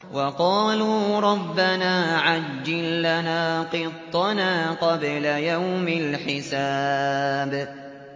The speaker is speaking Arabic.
وَقَالُوا رَبَّنَا عَجِّل لَّنَا قِطَّنَا قَبْلَ يَوْمِ الْحِسَابِ